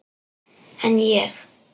En ég.